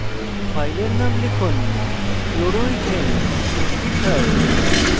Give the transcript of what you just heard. file name লিখুন chloroethaneether